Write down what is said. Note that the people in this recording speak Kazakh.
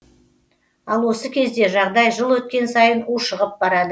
ал осы кезде жағдай жыл өткен сайын ушығып барады